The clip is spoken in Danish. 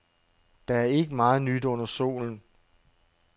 Der er ikke meget nyt under solen.